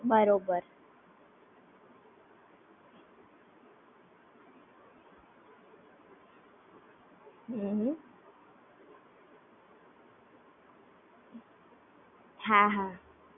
બરાબર